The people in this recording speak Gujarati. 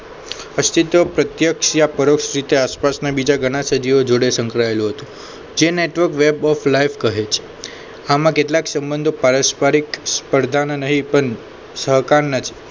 અસ્તિત્વ પ્રત્યક્ષ યા પરોક્ષ રીતે આસપાસના બીજા ઘણા સજીવો જોડે સંકળાયેલો હતો જે નૈતરોક વેબ ઓફ લાઈફ કહે છે આમાં કેટલાક સંબંધો પરસ્પરિક સ્પર્ધાના નહીં પણ સહકાર ના છે